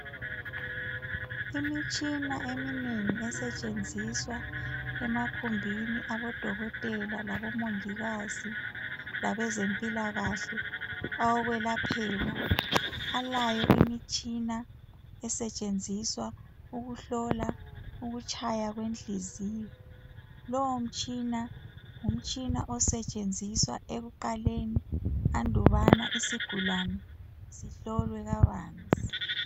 Imitshina eminengi esentshenziswa emagumbini abodokotela labomongikazi labezimpilakahle awokwelaphela. Alayo imitshina esentshenziswa ukuhlola ukutshaywa kwenhliziyo. Lowo mtshina, ngumtshina osentshenziswa ekuqaleni andubana isigulane sihlolwe kabanzi.